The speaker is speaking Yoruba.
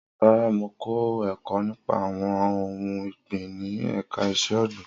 Rara, Mo kọ ẹkọ nipa awọn ohun ọgbin ni ẹka iṣẹ-ogbin